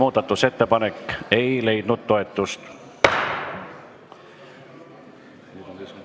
Muudatusettepanek ei leidnud toetust.